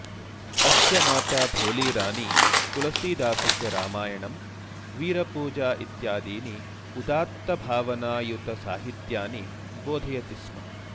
अस्य माता भोली रानी तुलसीदासस्य रामायणं वीरपूजा इत्यादीनि उदातभावनायुतसाहित्यानि बोधयति स्म